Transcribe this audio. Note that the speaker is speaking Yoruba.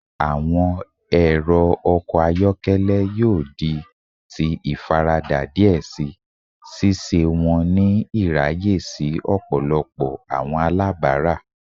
Awọn ẹrọ ọkọ ayọkẹlẹ yoo di ti ifarada diẹ sii, ṣiṣe wọn ni iraye si ọpọlọpọ awọn alabara.